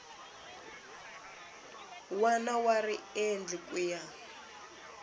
wana wa riendli ku ya